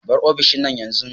Bar ofishina yanzu!